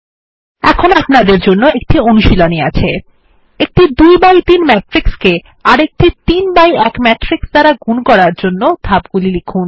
এখন আপনাদের জন্য একটি অনুশীলনী আছে একটি 2এক্স3 ম্যাট্রিক্সকে একটি 3এক্স1 ম্যাট্রিক্স দ্বারা গুন করার জন্য ধাপগুলি লিখুন